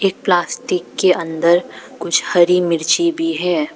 Plastic के अंदर कुछ हरी मिर्ची भी है।